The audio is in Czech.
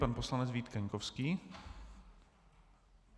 Pan poslanec Vít Kaňkovský.